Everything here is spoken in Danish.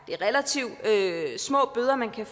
det er relativt små bøder man kan